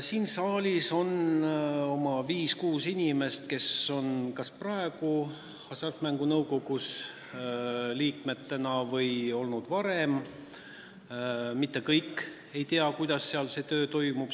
Siin saalis on viis-kuus inimest, kes on kas praegu Hasartmängumaksu Nõukogu liikmed või on seal olnud varem, aga mitte kõik ei tea, kuidas seal see töö toimub.